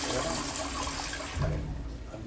Chegou, né? Eu falei